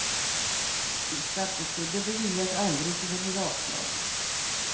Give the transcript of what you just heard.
Skatteskulder beviljas aldrig så det blir avslag.